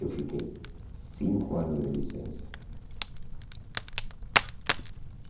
Eu fiquei cinco anos de licença.